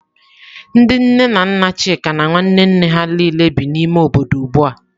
Ndị nne na nna Chika na nwanne nne ha niile bi n'ime obodo ugbu a.